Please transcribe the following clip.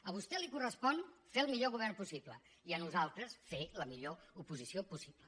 a vostè li correspon fer el millor govern possible i a nosaltres fer la millor oposició possible